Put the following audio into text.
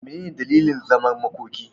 Mene ne dalilin zaman makoki?